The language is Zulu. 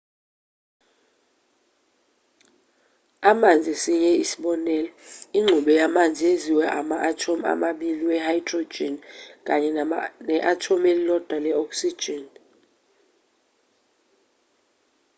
amanzi esinye isibonelo ingxube yamanzi yenziwe ama-athomu amabili we-hydrogen kanye ne-athomu elilodwa le-oxygen